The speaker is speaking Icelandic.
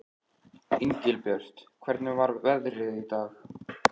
Engilbjört, hvernig er veðrið í dag?